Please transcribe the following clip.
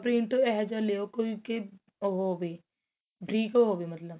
print ਇਹ ਜਾ ਲਿਉ ਕੋਈ ਕੀ ਉਹ ਹੋਵੇ ਬਰੀਕ ਹੋਵੇ ਮਤਲਬ